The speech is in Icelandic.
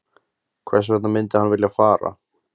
Hvers vegna myndi hann vilja fara?